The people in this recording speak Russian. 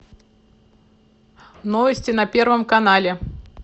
новости на первом канале